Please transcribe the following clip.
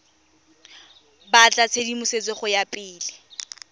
batla tshedimosetso go ya pele